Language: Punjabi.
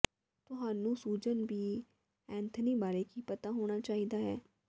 ਤੁਹਾਨੂੰ ਸੂਜ਼ਨ ਬੀ ਐਨਥਨੀ ਬਾਰੇ ਕੀ ਪਤਾ ਹੋਣਾ ਚਾਹੀਦਾ ਹੈ